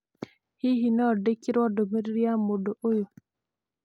Hihi no ndĩkĩrwo ndũmĩrĩri nĩ mũndũ ũyũ?